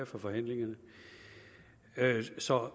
fra forhandlingerne så